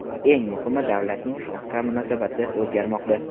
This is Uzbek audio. Eng muhimi, davlatning xalqqa munosabati o‘zgarmoqda.